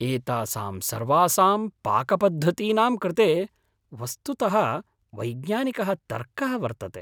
एतासां सर्वासां पाकपद्धतीनां कृते वस्तुतः वैज्ञानिकः तर्कः वर्तते।